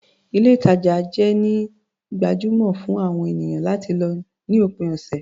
Ilé-ìtajà jẹ́ ini gbajúmọ̀ fún àwọn ènìyàn láti lọ ní òpin ọ̀sẹ̀.